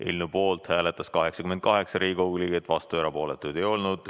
Eelnõu poolt hääletas 88 Riigikogu liiget, vastuolijaid ja erapooletuid ei olnud.